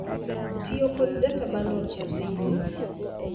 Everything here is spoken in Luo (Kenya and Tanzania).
Tiyo kod data bundles osenyis.